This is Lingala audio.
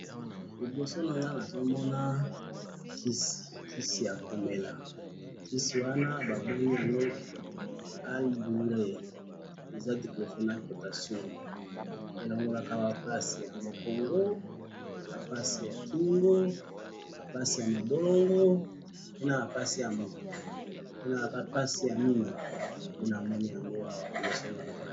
Liboso nanga nazomona kisi, kisi yakomela, kisi wana babengi yango Al douleurs, eza diclofenac potassium, elongolaka bapasi ya mukongo, bapasi yakingo, bapasi yamabolongo, pe naba pasi ya mutu, pe naba pasi yamino, nde namoni awa liboso nanga